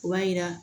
O b'a yira